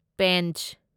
Pench